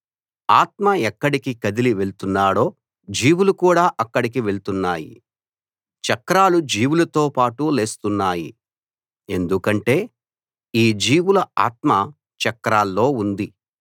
ఆత్మ ఎక్కడికి కదిలి వెళ్తున్నాడో జీవులు కూడా అక్కడికి వెళ్తున్నాయి చక్రాలు జీవులతో పాటు లేస్తున్నాయి ఎందుకంటే ఈ జీవుల ఆత్మ చక్రాల్లో ఉంది